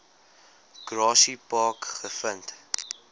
grassy park gevind